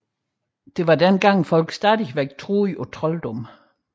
Det var dengang folk stadig troede på trolddom